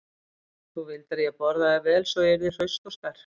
Þú vildir að ég borðaði vel svo ég yrði hraust og sterk.